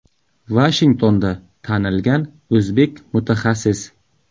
Vashingtonda tanilgan o‘zbek mutaxassis.